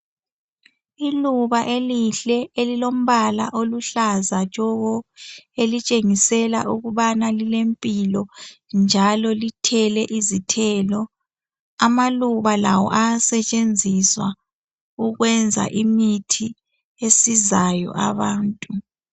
Iluba elihle elilombala oluhlaza tshoko elitshengisela ukubana lilempilo njalo lithele izithelo amaluba lawo ayasetshenziswa ukwenza imithi esizayo abantu.